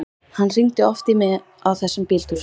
Hann hringdi oft í mig á þessum bíltúrum.